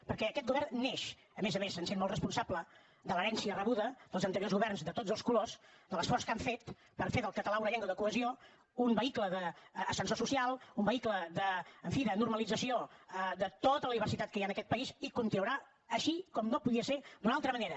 perquè aquest govern neix a més a més se’n sent molt responsable de l’herència rebuda dels anteriors governs de tots els colors de l’esforç que han fet per fer del català una llengua de cohesió un vehicle d’ascensor social un vehicle en fi de normalització de tota la diversitat que hi ha en aquest país i continuarà així com no podia der d’una altra manera